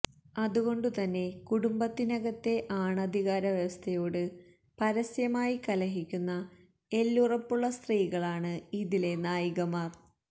അതുകൊണ്ടുതന്നെ കുടുംബത്തിനകത്തെ ആണധികാരവ്യവസ്ഥയോട് പരസ്യമായി കലഹിക്കുന്ന എല്ലുറപ്പുള്ള സ്ത്രീകളാണ് ഇതിലെ നായികമാര്